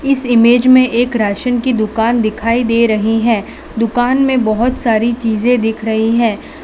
इस इमेज में एक राशन की दुकान दिखाई दे रही है दुकान में बहोत सारी चीजे दिख रही है।